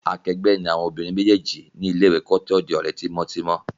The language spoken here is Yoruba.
Akẹgbẹ́ ni àwon obìnrin méjèjì nílé ìwé kí wón tó di òrẹ́ tímótímó